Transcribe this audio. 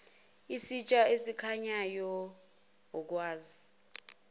isitsha esikhanyayo okwazi